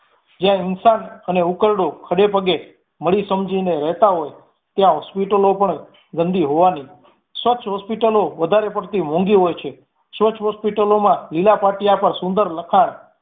જ્યાં ઇન્સાન અને ઉકરડો ખડે પગે મળી સમજીને રહેતા હોઈ ત્યાં hospital લો પણ ગંદી હોવાની જ. સ્વચ્છ hospital લો વધારે પડતી મોંઘી હોઈ છે સ્વચ્છ hospital લોમાં લીલા પાટિયા પર સુંદર લખાણ